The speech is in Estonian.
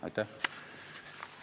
Aitäh!